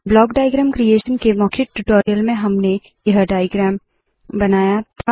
block diagram creation के मौखिक tutorial में हमने यह डाइअग्रैम बनाया था